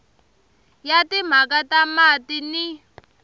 ya timhaka ta mati ni